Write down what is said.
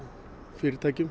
fyrirtækjum